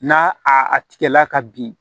N'a a tigɛla ka bin